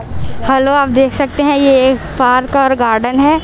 Hello आप देख सकते हैं ये एक पार्क और गार्डन है।